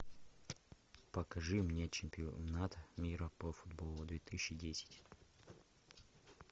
покажи мне чемпионат мира по футболу две тысячи десять